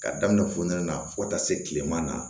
Ka daminɛ fonɛnɛ na fo ka taa se kilema na